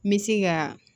N bɛ se ka